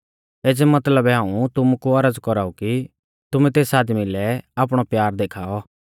एज़ै मतलबै हाऊं तुमु कु औरज़ कौराऊ कि तुमैं तेस आदमी लै आपणौ प्यार देखाऔ